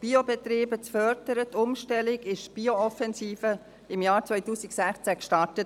Wir wissen es: Um den Anteil Biobetriebe zu erhöhen und die Umstellung zu fördern, wurde im Jahr 2016 die Bio-Offensive gestartet.